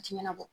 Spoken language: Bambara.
A ti ɲɛnabɔ